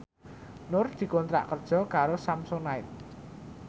Nur dikontrak kerja karo Samsonite